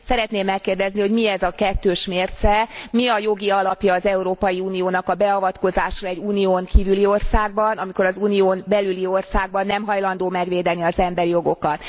Szeretném megkérdezni, hogy mi ez a kettős mérce, mi a jogi alapja az Európai Uniónak a beavatkozásra egy Unión kívüli országban, amikor az Unión belüli országban nem hajlandó megvédeni az emberi jogokat.